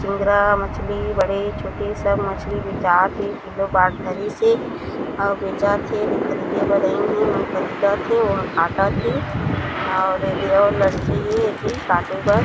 चिंगरा मछली बड़े-छोटे सब मछली बेचात हे किलो बाँट धरिस हे अउ बेचत हे येदे ख़रीदे बर आइन हे ओ ह ख़रीदत हे ओ ह काटत हे और येदे और लड़की हे एती काटे बर--